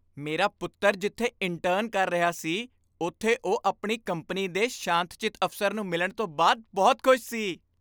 ਮੇਰਾ ਪੁੱਤਰ ਜਿੱਥੇ ਇੰਟਰਨ ਕਰ ਰਿਹਾ ਸੀ ਉੱਥੇ ਉਹ ਆਪਣੀ ਕੰਪਨੀ ਦੇ ਸ਼ਾਂਤਚਿੱਤ ਅਫ਼ਸਰ ਨੂੰ ਮਿਲਣ ਤੋਂ ਬਾਅਦ ਬਹੁਤ ਖੁਸ਼ ਸੀ ।